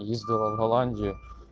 ездила в голландию